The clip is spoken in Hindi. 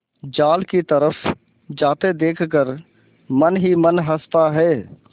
जाल की तरफ जाते देख कर मन ही मन हँसता है